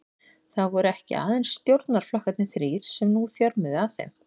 Það voru ekki aðeins stjórnarflokkarnir þrír, sem nú þjörmuðu að þeim.